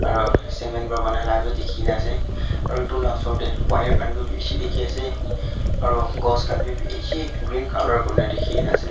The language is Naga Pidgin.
aro cement para banai la bi dikhi na ase aro itu la osor te wire khan bi bishi dikhi ase aro ghas khan bi bishi green color kuri na dikhi kena ase.